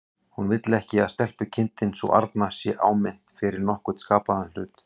Hann vill ekki að stelpukindin sú arna sé áminnt fyrir nokkurn skapaðan hlut.